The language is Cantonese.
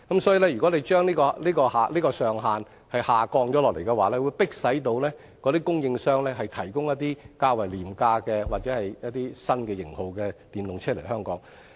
所以，如果政府將這上限調低，便會迫使那些供應商引進一些較為廉價或新型號的電動車來香港。